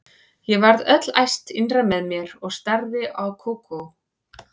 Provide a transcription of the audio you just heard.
Ég varð öll æst innra með mér og starði á Kókó.